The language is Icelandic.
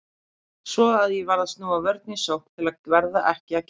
Svo að ég varð að snúa vörn í sókn til að verða ekki að gjalti.